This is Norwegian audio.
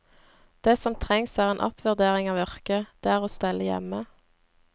Det som trengs er en oppvurdering av yrket, det er å stelle hjemme.